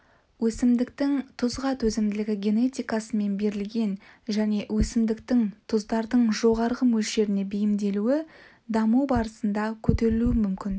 өсімдіктің тұзға төзімділігі генетикасымен берілген және өсімдіктің тұздардың жоғары мөлшеріне бейімделуі даму барысында көтерілуі мүмкін